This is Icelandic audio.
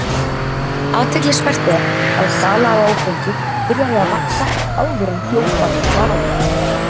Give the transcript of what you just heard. Athyglisvert er að sala á áfengi byrjaði að vaxa áður en bjórbanninu var aflétt.